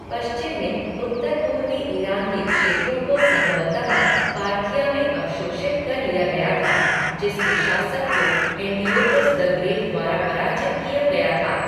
पश्चिम में, उत्तर पूर्वी ईरान के क्षेत्रों को संभवतः पार्थिया में अवशोषित कर लिया गया था, जिसके शासक को एंटिओकस द ग्रेट द्वारा पराजित किया गया था।